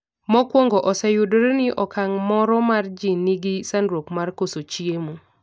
mokwongo oseyudore ni okang' moro mar ji ni gi sandruok mar koso chiemo